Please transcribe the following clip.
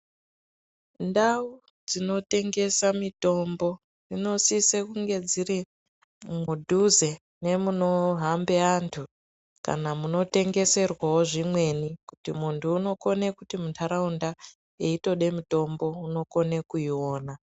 Ndau dzinotengesa mitombo, dzinosise kunge dziri mudhuze nemunohambe antu ,kana munotengeserwawo zvimweni, kuti muntu unokone kuti muntaraunda, eitode mitombo unokone kuiona.